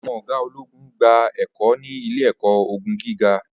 àwọn oga ologun n gba ẹkọ ni ile-ẹkọ ogun giga